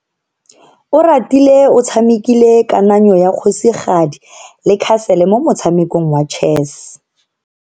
Oratile o tshamekile kananyo ya kgosigadi le khasele mo motshamekong wa chess.